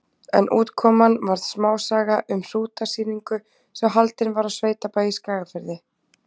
En útkoman varð smásaga um hrútasýningu sem haldin var á sveitabæ í Skagafirði.